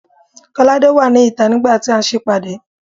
Kolade wà ní ìta nigba ti a n se ìpàdé